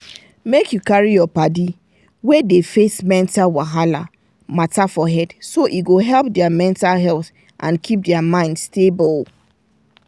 make you carry your paddi wey dey face mental wahala matter for head so e go help their mental health and keep their mind stable.